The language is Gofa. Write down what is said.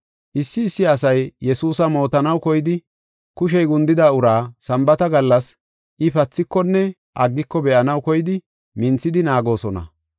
Issi issi asay Yesuusa mootanaw koyidi, kushey gundida uraa Sambaata gallas I pathikonne aggiko be7anaw koyidi minthidi naagoosona.